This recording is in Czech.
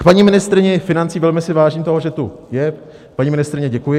K paní ministryni financí: velmi si vážím toho, že tu je, paní ministryně, děkuji.